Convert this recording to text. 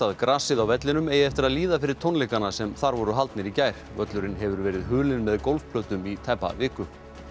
grasið á vellinum eigi eftir að líða fyrir tónleikana sem þar voru haldnir í gær völlurinn hefur verið hulinn með gólfplötum í tæpa viku